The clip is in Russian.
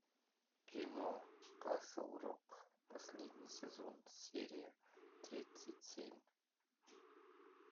кино касл рок последний сезон серия тридцать семь